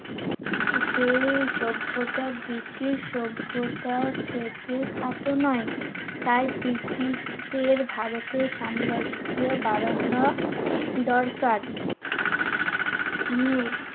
সে সভ্যতা ব্রিটিশ সভ্যতার থেকে খাটো নয়। তাই ব্রিটিশদের ভারতে সাম্রাজ্য বাড়ানো দরকার। নিয়ে